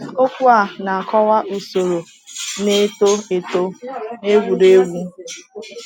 Okwu a na-akọwa usoro na-eto eto n’egwuregwu.